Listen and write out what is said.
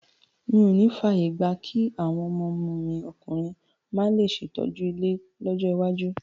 N ò níí fààyè gba kí àwọn ọmọ ọmọ mi ọkùnrin máa le ṣètọ́jú ilé lọ́jọ́ iwájú.